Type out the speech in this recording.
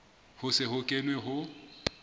ho se ho kenwe ho